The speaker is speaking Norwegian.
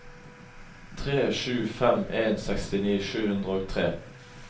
tre sju fem en sekstini sju hundre og tre